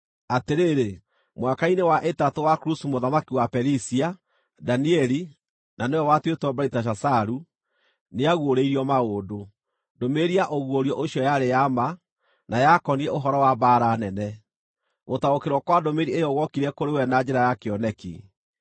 Atĩrĩrĩ, mwaka-inĩ wa ĩtatũ wa Kurusu mũthamaki wa Perisia, Danieli (na nĩwe watuĩtwo Beliteshazaru) nĩaguũrĩirio maũndũ. Ndũmĩrĩri ya ũguũrio ũcio yarĩ ya ma, na yakoniĩ ũhoro wa mbaara nene. Gũtaũkĩrwo kwa ndũmĩrĩri ĩyo guokire kũrĩ we na njĩra ya kĩoneki.